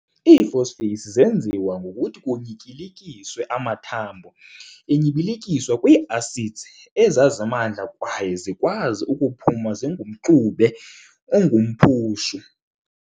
Ii-phosphates zeenziwa ngokuthi kunyityilikiswe amathambo enyibilikiswa kwii-acids ezazimandla kwaye zikwazi ukuphuma zingumxube ongumphushu.